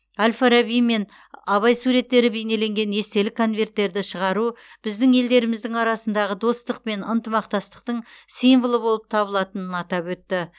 әл фараби мен абай суреттері бейнеленген естелік конверттерді шығару біздің елдеріміздің арасындағы достық пен ынтымақтастықтың символы болып табылатынын атап өтті